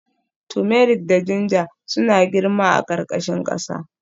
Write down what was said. Turmeric da ginger suna girma a ƙarƙashin ƙasa